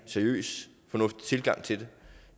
seriøs fornuftig tilgang til det